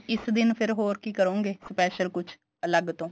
ਇਸ ਦਿਨ ਫੇਰ ਹੋਰ ਕੀ ਕਰੋਂਗੇ special ਕੁੱਝ ਅਲੱਗ ਤੋਂ